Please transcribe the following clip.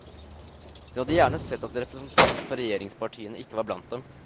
Hun hadde gjerne sett at representanter for regjeringspartiene ikke var blant dem.